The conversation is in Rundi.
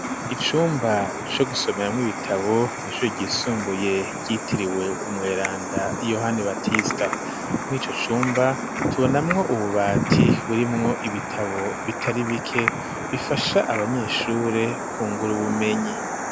Icumba co gusomeramwo ibitabo ishuri ryisumbuye ryitiriwe umweranda yohana batista mw'ico cumba tubonamwo ububati burimwo ibitabo bitari bike bifasha abanyeshure ku nguru bumenyi.